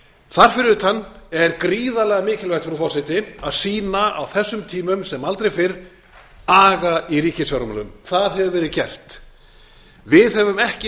þar fyrir utan er gríðarlega mikilvægt frú forseti að sýna á þessum tímum sem aldrei fyrr aga í ríkisfjármálum það hefur verið gert við sem